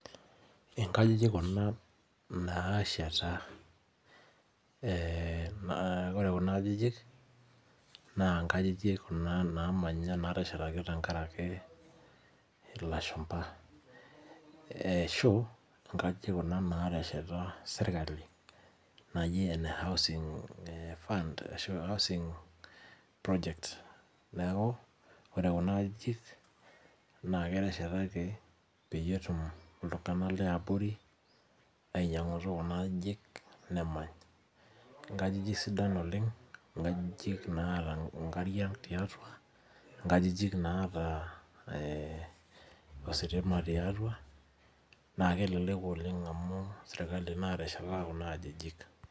Inkajijik kuna nasheta. Ore kuna ajijik, naa Inkajijik kuna namanya nateshetaki tenkaraki ilashumpa. Ashu, inkajijik kuna natesheta serkali naji ene housing fund, ashu housing project. Neeku, ore kuna ajijik, na keteshetaki peyie etum iltung'anak leabori ainyang'utu kuna ajijik, nemany. Inkajijik sidan oleng, inkajijik naata inkariak tiatua, inkajijik naata ositima tiatua, na kelelek oleng amu serkali natesheta kuna ajijik.